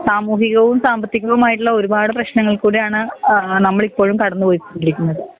സാമൂഹികോം സാമ്പത്തികോമായിട്ട്ള്ള ഒരുപാട് പ്രേശ്നങ്ങൾകൂടിയാണ് ഏഹ് നമ്മളിപ്പോഴും കടന്ന് പോയിക്കൊണ്ടിരിക്കുന്നത്.